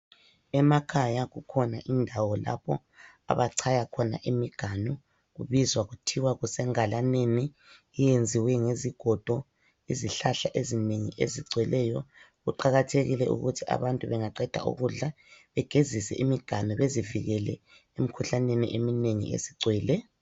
Emakhaya kukhona indawo lapho abachaya khona imiganu. Kubizwa kuthiwa kuse ngalaneni iyenziwe ngezigodo, izihlahla ezinengi ezigcweleyo kuqakathekile ukuthi abantu bangaqeda ukudla begezise imiganu bezivikele emikhuhlaneni eminengi esigcwele.